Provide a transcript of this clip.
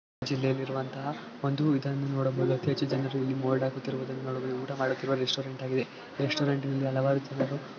ಜಿಲ್ಲೆಯಲ್ಲಿರುವಂತಹ ವಂದು ಇದನ್ನು ನೋಡಬಹುದು ಅತಿ ಹೆಚ್ಚು ಜನರು ಇಲ್ಲಿ ಮೊಲ್ಡ್ಆಗಿ ಕೂತಿರುವುದನ್ನು ನೋಡಬಹುದು. ಊಟ ಮಾಡುತ್ತಿರುವ ರೆಸ್ಟೋರೆಂಟ್ ಆಗಿದೆ. ರೆಸ್ಟೋರೆಂಟ್ ನಿದಾನವಾಗಿ ತಿನ್ನಲು --